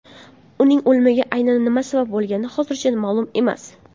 Uning o‘limiga aynan nima sabab bo‘lgani hozircha ma’lum emas.